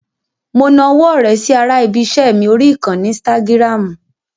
Mo nawọ́ ọ̀rẹ́ sí ara ibi-iṣẹ́ mi orí ìkànnì ínsítágìràmù.